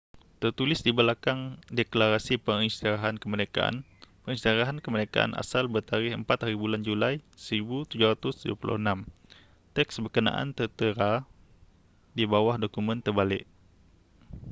tertulis di belakang deklarasi pengisytiharan kemerdekaan pengisytiharan kemerdekaan asal bertarikh 4hb julai 1776 teks berkenaan tertera di bawah dokumen terbalik